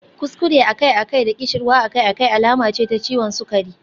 Kuskure akai-akai da ƙishirwa akai-akai alama ce ta ciwon sukari.